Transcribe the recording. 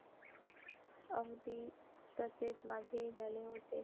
अगदी तसेच माझेही झाले होते.